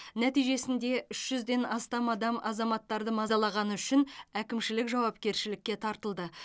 нәтижесінде үш жүзден астам адам азаматтарды мазалағаны үшін әкімшілік жауапкершілікке тартылды